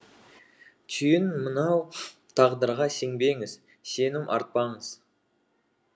түйін мынау тағдырға сенбеңіз сенім артпаңыз